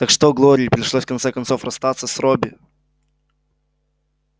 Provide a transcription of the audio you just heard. так что глории пришлось в конце концов расстаться с робби